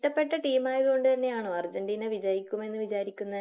ഇഷ്ട്ടപ്പെട്ട ടീം ആയത് കൊണ്ട് തന്നെയാണോ അർജന്റീന വിജയിക്കുമെന്ന് വിചാരിക്കുന്നേ?